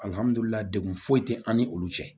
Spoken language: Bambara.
degu foyi tɛ an ni olu cɛ